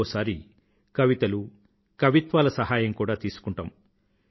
ఒకోసారి కవితలు కవిత్వాల సహాయం కూడా తీసుకుంటాము